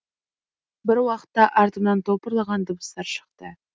бір уақытта артымнан топырлаған дыбыстар шықты